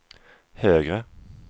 högre